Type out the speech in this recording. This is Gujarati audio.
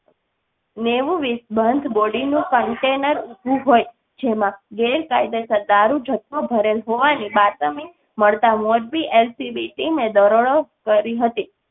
બંધ body નું container ઊભું હોય જેમાં ગેર કાયદે સર દારૂ જથ્થો ભરેલ હોવા ની બાતમી મળતા મોરબી LCB team એ દરોડો કરી હતી.